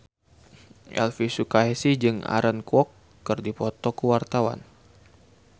Elvy Sukaesih jeung Aaron Kwok keur dipoto ku wartawan